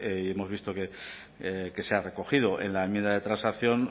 y hemos visto que se ha recogido en la enmienda de transacción